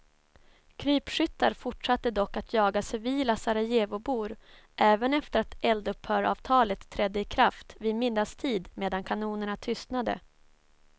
Krypskyttar fortsatte dock att jaga civila sarajevobor även efter att eldupphöravtalet trädde i kraft vid middagstid medan kanonerna tystnade.